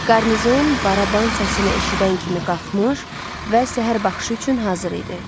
Qarnizon baraban səsinə eşidən kimi qalxmış və səhər baxışı üçün hazır idi.